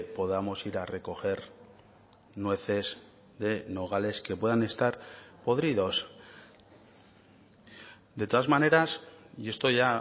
podamos ir a recoger nueces de nogales que puedan estar podridos de todas maneras y esto ya